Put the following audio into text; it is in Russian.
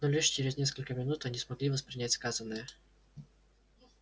но лишь через несколько минут они смогли воспринять сказанное